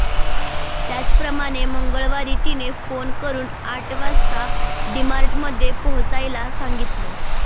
त्याप्रमाणे मंगळवारी तिने फोन करुन आठ वाजता डी मार्ट मध्ये पोहोचायला सांगितल